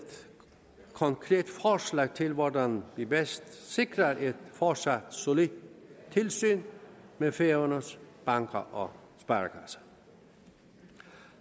konkret forslag til hvordan vi bedst sikrer et fortsat solidt tilsyn med færøernes banker og sparekasser